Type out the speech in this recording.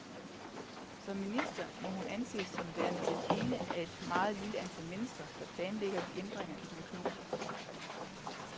Som minister må hun anses som værende den ene af et meget lille antal mennesker, der planlægger de ændringer i den økonomiske politik.